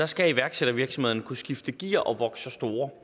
skal iværksættervirksomhederne kunne skifte gear og vokse sig store